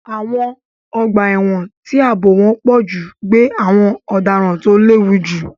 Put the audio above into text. Àwọn ọgbà ẹ̀wọ̀n tí ààbò wọn pọ̀ jù gbé àwọn ọ̀daràn tó léwu jù.